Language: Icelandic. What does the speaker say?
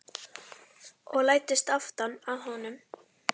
Og læddist aftan að honum.